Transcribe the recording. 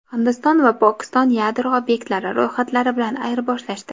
Hindiston va Pokiston yadro obyektlari ro‘yxatlari bilan ayirboshlashdi.